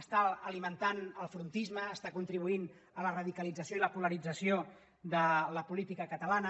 està alimentant el frontisme està contribuint a la radicalització i la polarització de la política catalana